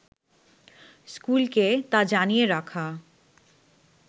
স্কুলকে তা জানিয়ে রাখা